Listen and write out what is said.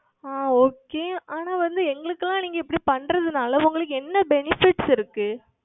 ஆஹ் Okay ஆனால் வந்து எங்களுக்கு எல்லாம் நீங்கள் இப்படி செய்வதுனால் உங்களுக்கு என்ன benefits இருக்கிறது